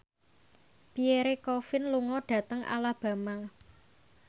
Pierre Coffin lunga dhateng Alabama